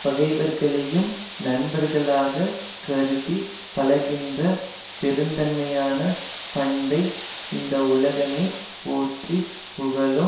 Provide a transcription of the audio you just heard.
பகைவர்களையும் நண்பர்களாகக் கருதி பழகின்ற பெருந்தன்மையான பண்பை இந்த உலகமே போற்றி புகழும்